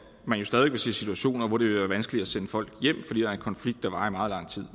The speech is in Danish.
man stadig vil se situationer hvor det vil være vanskeligt at sende folk hjem fordi der er en konflikt der varer i meget lang tid